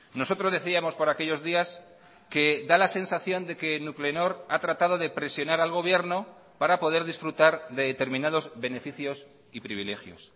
nosotros decíamos por aquellos días que da la sensación de que nuclenor ha tratado de presionar al gobierno para poder disfrutar de determinados beneficios y privilegios